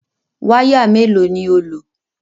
Wáyà mélòó ni ó lò?